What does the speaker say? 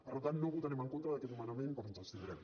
per tant no votarem en contra d’aquest nomenament però ens abstindrem